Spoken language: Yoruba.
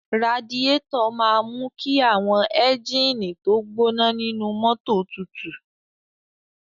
Radíátọ̀ máa mú kí àwọn ẹ́gíínìì tó gbọ́ná nínú mọ́tò tutù.